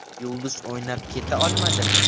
Yulduz o‘ynab keta olmadimi?